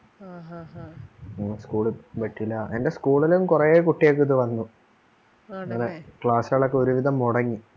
എന്റെ school ലും കുറെ കുട്ടികൾക്ക് ഇത് വന്നു ആണല്ലേ class കൾ ഒക്കെ ഒരുവിധം മുടങ്ങി